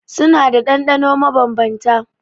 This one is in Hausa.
Suna da ɗanɗano mabanbanta.